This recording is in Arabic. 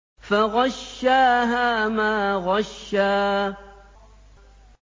فَغَشَّاهَا مَا غَشَّىٰ